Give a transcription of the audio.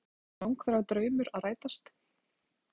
Þórhildur Þorkelsdóttir: Langþráður draumur að rætast?